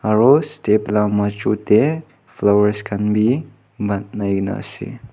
aro step la majo de flowers khan b ba nai na ase.